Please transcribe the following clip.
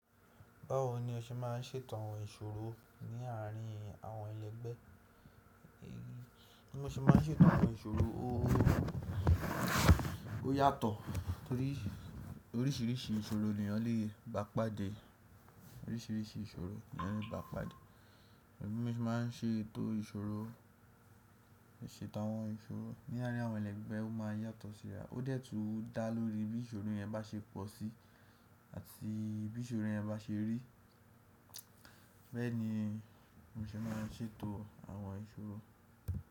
Báwo ni o ṣe ma ń ṣètò àwọn ìsọ̀rọ̀ ní àárín àwọn ẹlẹ́gbẹ́? Bí mo ṣe má ń ṣètò àwọn ìsọ̀rọ̀, ó yàtọ̀. Orísìírísìí ìsọ̀rọ̀ ni eeyan lẹ ba pàdé. Orísìírísìí ìsọ̀rọ̀ ni ọ̀lẹ ba pàdé. Bí mo ṣe ma ń ṣètò ìsọ̀rọ̀, ṣètò àwọn ìsọ̀rọ̀ ní àárín àwọn ẹlẹ́gbẹ́ ó ma ń yàtọ̀ síra. Ó dẹ́ tun da lórí bí ìsọ̀rọ̀ yẹn bá ṣe pọ̀ sí àti bí ìsọ̀rọ̀ yẹn bá ṣe rí. Bẹ́ẹ̀ ni mo ṣe ma ń ṣètò àwọn ìsọ̀rọ̀.